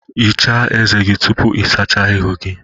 Ghichaa ezé gị tupu ị sachaa ihu gị